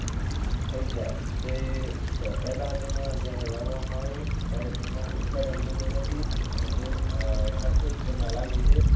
થઈ જાય. તે પહેલા તેમાં જ્યારે વાવામાં આવે ત્યારે તેમાં ઉત્પાદન થતું નથી અને તે ખર્ચો જ તેમાં લાગે છે.